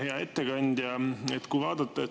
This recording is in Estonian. Hea ettekandja!